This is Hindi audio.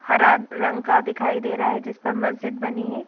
हरा रंग का दिखाई दे रहा है जिस पर मस्जिद बनी है ।